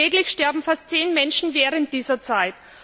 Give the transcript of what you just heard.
Täglich sterben fast zehn Menschen während dieser Zeit.